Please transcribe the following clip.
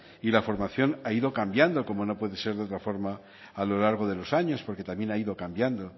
y la formación ha ido cambiando como no puede ser de otra forma a lo largo de los años porque también ha ido cambiando